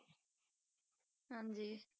ਹਾਂਜੀ।